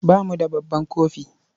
Ba mu da babban kofi.